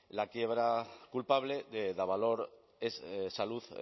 la quiebra culpable de davalor salud